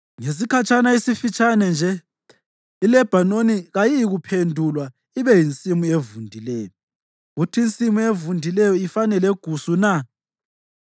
Ngesikhatshana esifitshane nje, iLebhanoni kayiyikuphendulwa ibe yinsimu evundileyo, kuthi insimu evundileyo ifane legusu na?